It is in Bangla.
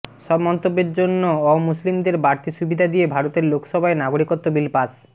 সব মন্তব্যের জন্য অমুসলিমদের বাড়তি সুবিধা দিয়ে ভারতের লোকসভায় নাগরিকত্ব বিল পাশ